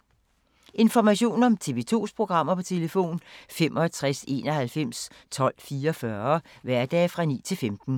Information om TV 2's programmer: 65 91 12 44, hverdage 9-15.